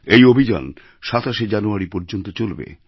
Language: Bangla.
এই অভিযান ২৭শে জানুয়ারি পর্যন্ত চলবে